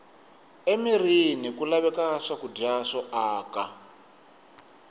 emirini ku laveka swakudya swo aka